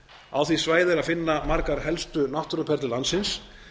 á því svæði er að finna margar helstu náttúruperlur landsins